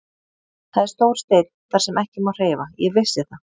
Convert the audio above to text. Það er stór steinn þar sem ekki má hreyfa, ég vissi það.